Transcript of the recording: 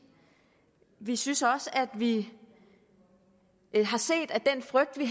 vi synes også at vi har set at den frygt vi